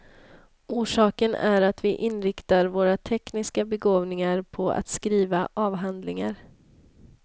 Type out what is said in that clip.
Orsaken är att vi inriktar våra tekniska begåvningar på att skriva avhandlingar.